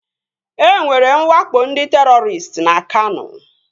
E nwere nwakpo ndị terọristị na Kano